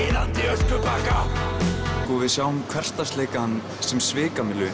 öskubakka við sjáum hversdagsleikann sem svikamyllu